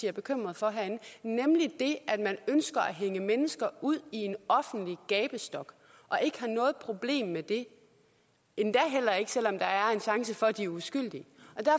er bekymret for nemlig det at man ønsker at hænge mennesker ud i en offentlig gabestok og ikke har noget problem med det endda heller ikke selv om der er en chance for at de er uskyldige